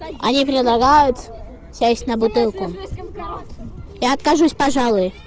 они предлагают сесть на бутылку я откажусь пожалуй